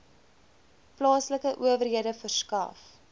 plaaslike owerhede verskaf